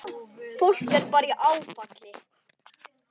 Fólk er bara í áfalli.